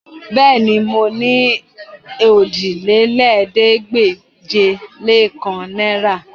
Bẹ́ẹ̀ni, mo ní òjìlélẹ́ẹ̀ẹ́dégbèje-lé-kan náìrà